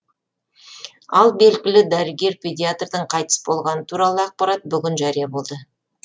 ал белгілі дәрігер педиатрдың қайтыс болғаны туралы ақпарат бүгін жария болды